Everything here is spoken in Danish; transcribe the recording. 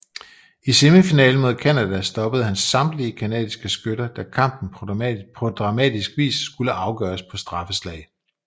I semifinalen mod Canada stoppede han samtlige canadiske skytter da kampen på dramatisk vis skulle afgøres på straffeslag